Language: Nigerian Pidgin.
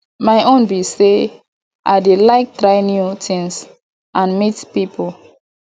my own be say i dey like try new things and meet people